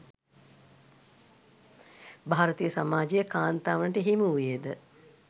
භාරතීය සමාජයේ කාන්තාවනට හිමි වුයේද